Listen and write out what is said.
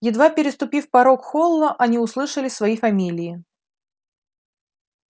едва переступив порог холла они услышали свои фамилии